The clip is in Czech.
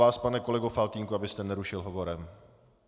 Vás, pane kolego Faltýnku, abyste nerušil hovorem.